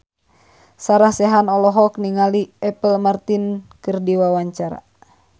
Sarah Sechan olohok ningali Apple Martin keur diwawancara